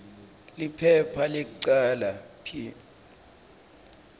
liphepha lekucala p